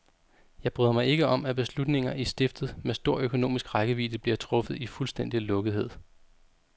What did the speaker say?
Jeg bryder mig ikke om, at beslutninger i stiftet med stor økonomisk rækkevidde bliver truffet i fuldstændig lukkethed.